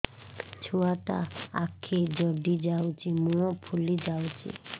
ଛୁଆଟା ଆଖି ଜଡ଼ି ଯାଉଛି ମୁହଁ ଫୁଲି ଯାଉଛି